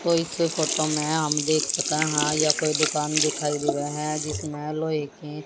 तो इस फोटो में हम देख सके है यह कोई दुकान दिखाई देवे है जिसमें लोहे की--